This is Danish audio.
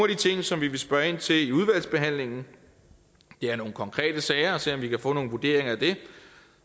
de ting som vi vil spørge ind til i udvalgsbehandlingen er nogle konkrete sager for at se om vi kan få nogle vurderinger af det